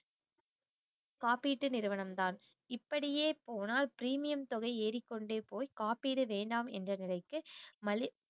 காப்பீட்டு நிறுவனம் தான் இப்படியே போனால் premium தொகை ஏறிக்கொண்டே போய் காப்பீடு வேண்டாம் என்ற நிலைக்கு மதி~